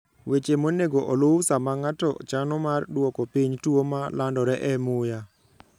weche monego oluw sama ng'ato chano mar dwoko piny tuo ma landore e muya